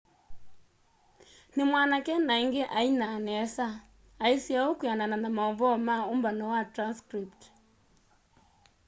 nimwanake na ingi ainaa nesa muno aisye uu kwianana na mauvoo ma umbano wa transcript